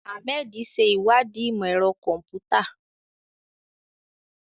Ahmed ṣe ìwádìí ìmọ̀ ẹ̀rọ kọ̀m̀pútà.